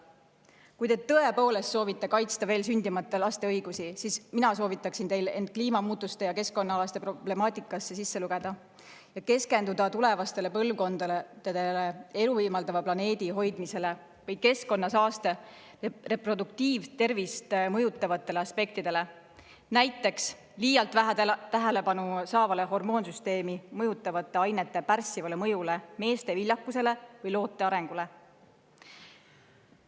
Kui te tõepoolest soovite kaitsta veel sündimata laste õigusi, siis mina soovitaksin teil end kliimamuutuste ja keskkonna problemaatikaga ja keskenduda tulevastele põlvkondadele elu võimaldava planeedi hoidmisele või keskkonnasaaste reproduktiivtervist mõjutavatele aspektidele, näiteks liialt vähe tähelepanu saanud hormoonsüsteemi mõjutavate ainete pärssivale mõjule meeste viljakusele või loote arengule.